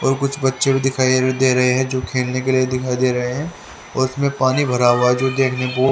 और कुछ बच्चे को दिखाइ दे दे रहे हैं जो खेलने के लिए दिखाई दे रहे हैं और उसमें पानी भरा हुआ जो देखने को--